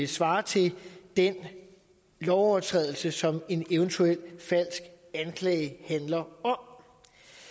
svarer til den lovovertrædelse som en eventuel falsk anklage handler om